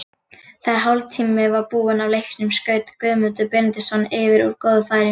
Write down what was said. Þegar hálftími var búinn af leiknum skaut Guðmundur Benediktsson yfir úr góðu færi.